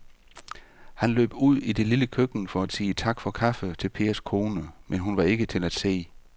Han løb ud i det lille køkken for at sige tak for kaffe til Pers kone, men hun var ikke til at se.